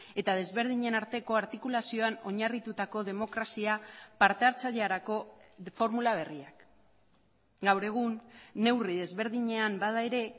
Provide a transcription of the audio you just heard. eta desberdinen arteko artikulazioan oinarritutako demokrazia parte hartzailerako formula berriak gaur egun neurri desberdinean bada ere